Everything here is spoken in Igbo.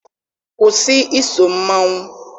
Kwụsị iso mmanwụ!